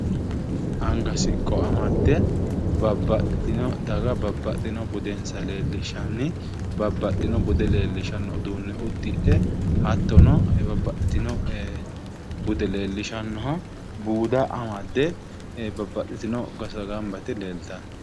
Anga siqqo amadde babbaxxitewo daga babbaxewo budensa leellishshanni babbaxxino bude leellishanno iduunne uddidhe hattono babbaxxino bude leellishanno buuda amadde babbaxxitewo gosa leeltanno